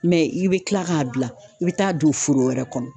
i bɛ kila k'a bila, i bɛ taa don foro wɛrɛ kɔnɔ.